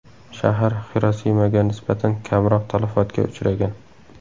Shahar Xirosimaga nisbatan kamroq talafotga uchragan.